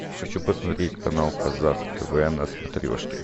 хочу посмотреть канал казах тв на смотрешке